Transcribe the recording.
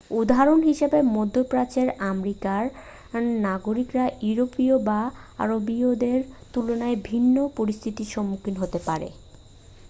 উদাহরণ হিসাবে মধ্য প্রাচ্যের আমেরিকান নাগরিকরা ইউরোপীয় বা আরবীয়দের তুলনায় ভিন্ন পরিস্থিতির সম্মুখীন হতে পারে